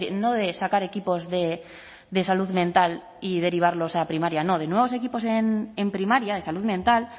no de sacar equipos de salud mental y derivarlos a primaria no de nuevos equipos en primaria de salud mental